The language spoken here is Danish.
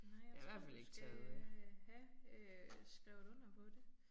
Nej jeg tror du skal have øh skrevet under på det